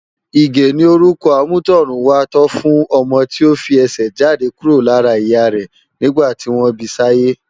Ige ni órùkò ámùtòrùn wá tò fùn òmò ti ó fi èsè jádé kúró lárà iyà rè nigbá tiwón bisáyé